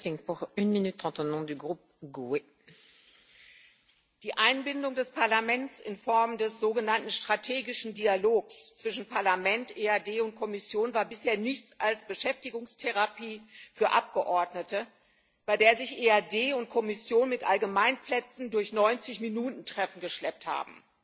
Frau Präsidentin! Die Einbindung des Parlaments in Form des sogenannten strategischen Dialogs zwischen Parlament, EAD und Kommission war bisher nichts als Beschäftigungstherapie für Abgeordnete, bei der sich EAD und Kommission mit Allgemeinplätzen durch 90 Minuten Treffen geschleppt haben.